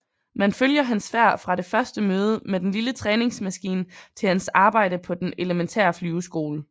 Man følger hans færd fra det første møde med den lille træningsmaskine til hans arbejde på den elementære flyveskole